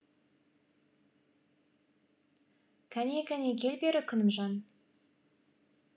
кәне кәне кел бері күнімжан